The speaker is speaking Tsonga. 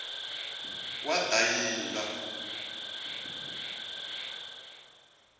wadayila